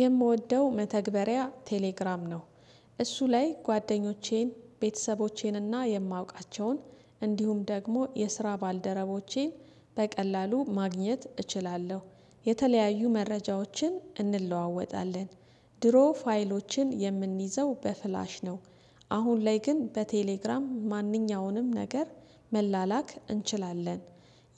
የምወደው መተግበሪያ ቴሌግራም ነው። እሱ ላይ ጓደኞቼን፣ ቤተሰቦቼን እና የማውቃቸውን እንዲሁም ደግሞ የስራ ባልደረቦቼን በቀላሉ ማግኘት እችላለሁ። የተለያዩ መረጃዎችን እንለዋወጣለን ድሮ ፋይሎችን የምንይዘው በፍላሽ ነው። አሁን ላይ ግን በቴሌግራም ማንኛውንም ነገር መላላክ እንችላለን።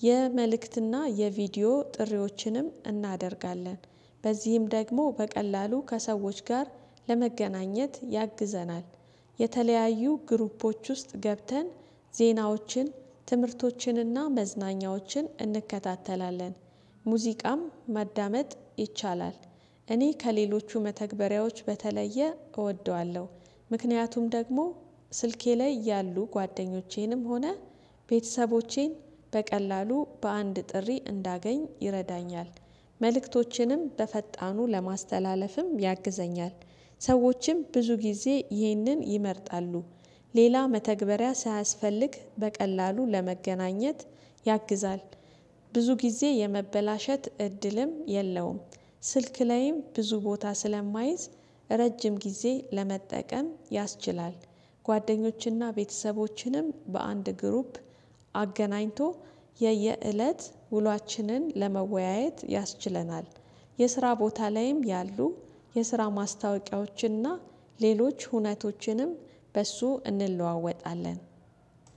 የመልእክትና የቪዲዮ ጥሪዎችንም እናደርጋለን። በዚህም ደግሞ በቀላሉ ከሰዎች ጋር ለመገናኘት ያግዘናል። የተለያዩ ግሩፖዎች ውስጥ ገብተን ዜናዎችን ትምህርቶችን እና መዝናኛዎችን እንከታተላለን። ሙዚቃም ማዳመጥ ይቻላል። እኔ ከሌሎቹ መተግበሪያዎች በተለየ እወደዋለሁ። ምክንያቱም ደግሞ ስልኬ ላይ ያሉ ጓደኞቼንም ሆነ ቤተሰቦቼን በቀላሉ በአንድ ጥሪ እንዳገኝ ይረዳኛል። መልእክቶችንም በፈጣኑ ለማስተላለፍም ያግዘኛል። ሰዎችም ብዙ ጊዜ ይህንን ይመርጣሉ። ሌላ መተግበሪያ ሳያስፈልግ በቀላሉ ለመገናኘት ያግዛል። ብዙ ጊዜ የመበላሸት እድልም የለውም። ስልክ ላይም ብዙ ቦታ ስለማይዝ ረጅም ጊዜ ለመጠቀም ያስችላል። ጓደኞችንና ቤተሰቦችንም በአንድ 'ግሩፕ' አገናኝቶ የየእለት ውሏችንን ለመወያየት ያስችለናል። የስራ ቦታ ላይም ያሉ የስራ ማስታወቂያዎችን እና ሌሎች ሁነቶችንም በእሱ እንለዋወጣለን።